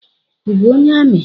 I bụ onye ami?